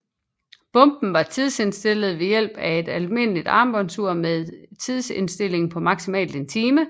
Bomben var tidsindstillet ved hjælp af et almindeligt armbåndsur med tidsindstilling på maksimalt en time